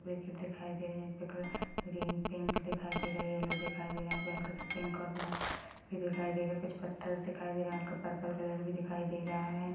Packet दिखाई दे रहे है ग्रीन पिंक दिखाई दे रहा है येलो दिखाई दे रहा है यहाँ पर हल्का सा पिंक और ब्राउन कलर भी दिखाई दे रहा है कुछ पत्थर दिखाई दे रहा है उनको पर्पल कलर भी दिखाई दे रहा है।